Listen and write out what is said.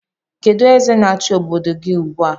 Kedụ eze na-achi obodo gị ugbu a?